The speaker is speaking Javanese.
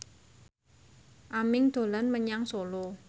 Aming dolan menyang Solo